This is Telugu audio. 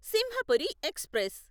సింహపురి ఎక్స్ప్రెస్